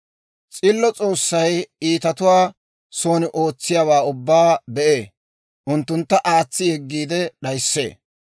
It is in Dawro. S'illo S'oossay iitatuwaa son oosettiyaawaa ubbaa be'ee; unttuntta aatsi yeggiide d'ayissee.